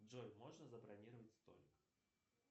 джой можно забронировать столик